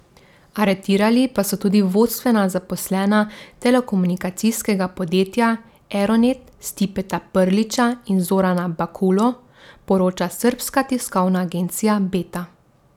Aretirali pa so tudi vodstvena zaposlena telekomunikacijskega podjetja Eronet Stipeta Prlića in Zorana Bakulo, poroča srbska tiskovna agencija Beta.